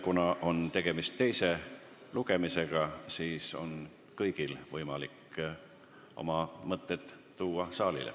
Kuna on tegemist teise lugemisega, siis on kõigil võimalik oma mõtteid saalile tutvustada.